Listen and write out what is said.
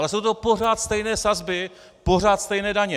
Ale jsou to pořád stejné sazby, pořád stejné daně!